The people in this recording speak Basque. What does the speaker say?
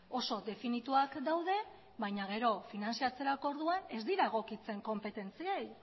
oso definituak daude baina gero finantzatzeko orduan ez dira egokitzen konpetentziei